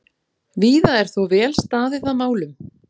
Víða er þó vel staðið að málum.